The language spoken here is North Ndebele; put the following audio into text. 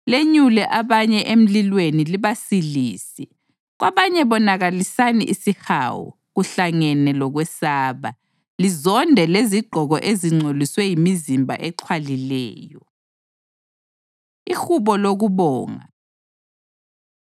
lenyule abanye emlilweni libasilise; kwabanye bonakalisani isihawu, kuhlangene lokwesaba, lizonde lezigqoko ezingcoliswe yimizimba exhwalileyo. Ihubo Lokubonga